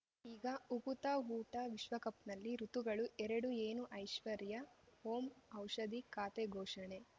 ಈಗ ಉಕುತ ಊಟ ವಿಶ್ವಕಪ್‌ನಲ್ಲಿ ಋತುಗಳು ಎರಡು ಏನು ಐಶ್ವರ್ಯಾ ಓಂ ಔಷಧಿ ಖಾತೆ ಘೋಷಣೆ